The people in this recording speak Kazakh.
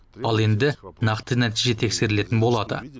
ал енді нақты нәтиже тексерілетін болады